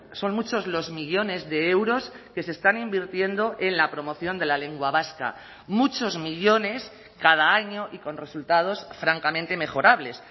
son muchos los millónes de euros que se están invirtiendo en la promoción de la lengua vasca muchos millónes cada año y con resultados francamente mejorables